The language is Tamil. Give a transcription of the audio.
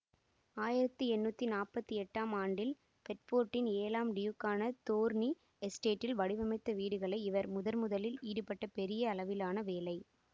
ஆயிரத்தி எண்ணூற்றி நாற்பத்தி எட்டாம் ஆண்டில் பெட்ஃபோர்டின் ஏழாம் டியூக்குக்காக தோர்னி எசுட்டேட்டில் வடிவமைத்த வீடுகளே இவர் முதர்முதலில் ஈடுபட்ட பெரிய அளவிலான வேலை